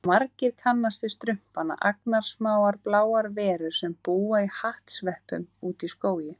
Margir kannast við Strumpana, agnarsmáar bláar verur sem búa í hattsveppum úti í skógi.